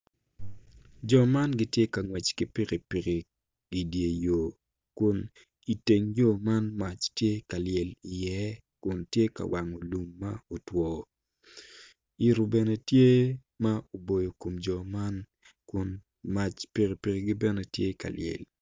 Jo man gitye ka ngwec ki pikipiki i dyer yo kun iteng yo man mac tye ka lyel iye kun tye ka wango lum ma otwo ito bene tye ma oboyo kom jo man kun mac pikipikigi bene tye ka lyel